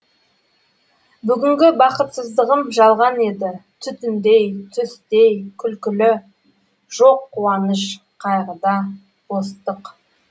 бүгінгі бақытсыздығым жалған еді түтіндей түстей күлкілі жоқ қуаныш қайғы да бостық